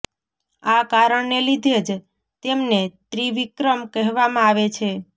આ કારણને લીધે જ તેમને ત્રિવિક્રમ કહેવામાં આવે છે